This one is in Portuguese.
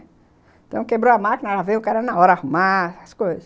Então, quebrou a máquina, ela veio o cara na hora arrumar as coisas.